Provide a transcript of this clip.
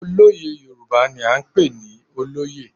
Olóyè Yorùbá ni à ń pè ní olóyè.